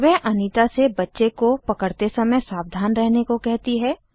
वह अनीता से बच्चे को पकड़ते समय सावधान रहने को कहती है